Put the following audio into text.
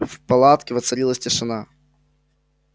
в палатке воцарилась тишина